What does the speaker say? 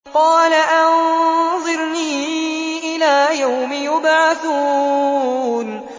قَالَ أَنظِرْنِي إِلَىٰ يَوْمِ يُبْعَثُونَ